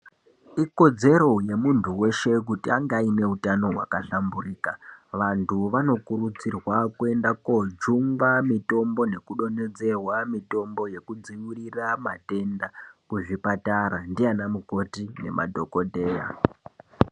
Ikodzero yemuntu weshe kuti ange aine utano hwakahlamburika. Vantu vanokurudzirwa kuenda koojungwa mitombo nekudonhedzerwa mitombo yekudzivirira matenda kuzvipatara ndiana mukoti nemadhogodheya.